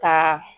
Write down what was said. Ka